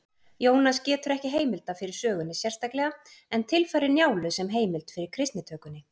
Jónas getur ekki heimilda fyrir sögunni sérstaklega en tilfærir Njálu sem heimild fyrir kristnitökunni.